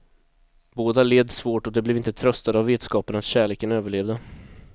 Båda led svårt, och de blev inte tröstade av vetskapen att kärleken överlevde.